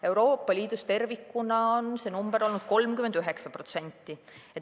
Euroopa Liidus tervikuna on see number olnud 39%.